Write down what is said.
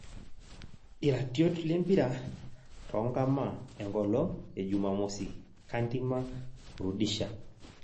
Iratiot lempira tonkama enkolong' ejumamosi; Kandima, Rudisha